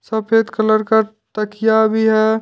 सफेद कलर का तकिया भी है।